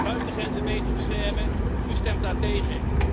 Buitengrenzen beter beschermen u stemt daartegen.